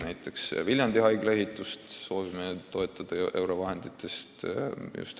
Näiteks Viljandi haiglahoone ehitust soovime toetada eurofondide rahaga.